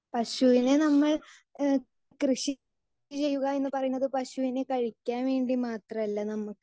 speaker 2 പക്ഷെ ഞാൻ അന്ന് ഇഹ് കൃഷി ചെയുക എന്ന് പറയുന്നത് പശുവിന് കഴിക്കാൻ വേണ്ടി മാത്രം അല്ല നമുക്ക്